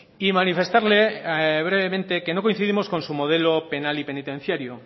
y manifestarle brevemente que no coincidimos con su modelo penal y penitenciario